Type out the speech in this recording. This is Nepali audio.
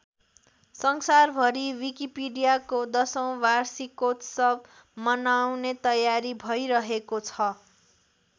संसार भरी विकिपिडियाको १०औँ वार्षिकोत्सव मनाउने तयारी भइरहेको छ।